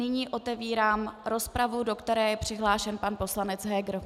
Nyní otevírám rozpravu, do které je přihlášen pan poslanec Heger.